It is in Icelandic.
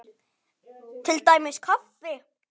Til dæmis kaffi.